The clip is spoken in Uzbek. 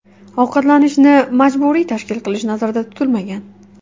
Ovqatlanishni majburiy tashkil qilish nazarda tutilmagan.